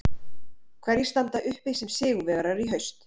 Hverjir standa uppi sem sigurvegarar í haust?